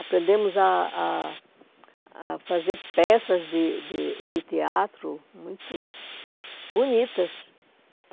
Aprendemos a a a fazer peças de de de teatro muito bonitas.